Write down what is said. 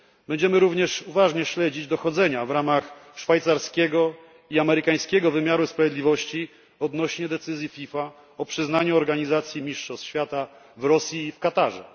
Będziemy również uważnie śledzić dochodzenia w ramach szwajcarskiego i amerykańskiego wymiaru sprawiedliwości odnośnie do decyzji FIFA o przyznaniu organizacji Mistrzostw Świata Rosji i Katarowi.